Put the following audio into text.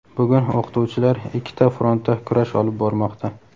bugun o‘qituvchilar ikkita frontda kurash olib bormoqda.